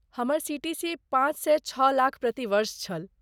हमर सी.टी.सी. पाँच सँ छओ लाख प्रति वर्ष छल।